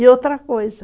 E outra coisa.